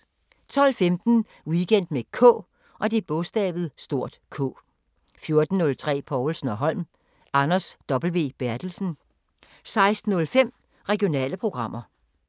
12:15: Weekend med K 14:03: Povlsen & Holm: Anders W. Berthelsen 16:05: Regionale programmer